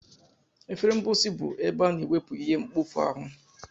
Efere mposi bụ ebe a na-ewepu ihe mkpofu ahu.